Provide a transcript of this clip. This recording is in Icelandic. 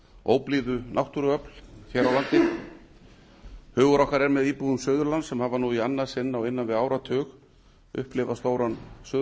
óblíðu náttúruöfl hér á landi hugur okkar er með íbúum suðurlands sem hafa nú í annað sinn á innan við áratug upplifað stóran suðurlandsskjálfta